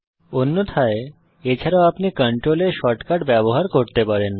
অন্যথায় এছাড়াও আপনি কন্ট্রোল S শর্টকাট ব্যবহার করতে পারেন